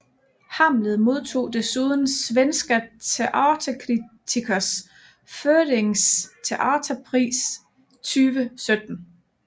Hamlet modtog desuden Svenska teaterkritikers förenings teaterpris 2017